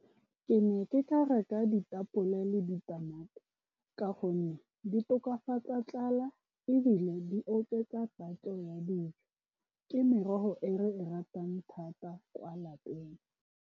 Ke ne ke ka reka ditapole le ditamati, ka gonne di tokafatsa tlala, ebile di oketsa tatso ya dijo ke merogo e re e ratang thata kwa lapeng.